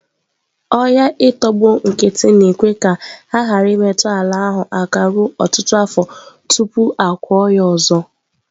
Ọhịa i tọgbọ nkịtị na-ekwe ka a ghara imetụ ala ahụ aka ruo ọtụtụ afọ tupu a kụọ ya ọzọ.